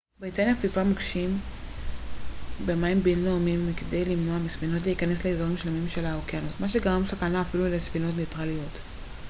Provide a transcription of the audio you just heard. בריטניה פיזרה מוקשים במים בינלאומיים בכדי למנוע מספינות להיכנס לאיזורים שלמים של האוקיינוס מה שגרם סכנה אפילו לספינות ניטרליות